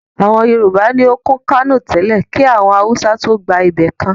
Àwọn Yorùbá ni òkún Kánò tẹ́lẹ́ kí àwọn Awùsá tóó gba ibẹ̀ kan